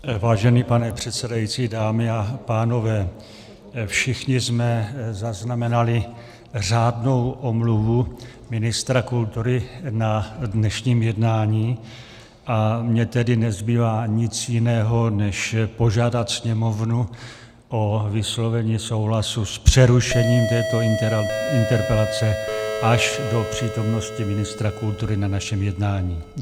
Vážený pane předsedající, dámy a pánové, všichni jsme zaznamenali řádnou omluvu ministra kultury na dnešním jednání, a mně tedy nezbývá nic jiného, než požádat Sněmovnu o vyslovení souhlasu s přerušením této interpelace až do přítomnosti ministra kultury na našem jednání.